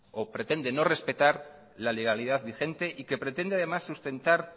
o pretende no respetar la legalidad vigente y que pretende además sustentar